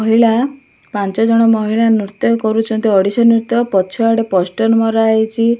ମହିଳା ପାଞ୍ଚଜଣ ମହିଳା ନୃତ୍ୟ କରୁଚନ୍ତି ଓଡ଼ିଶୀ ନୃତ୍ୟ ପଛଆଡେ ପଷ୍ଟର ମରାହେଇଛି।